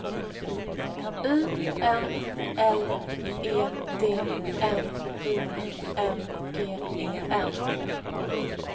I N L E D N I N G E N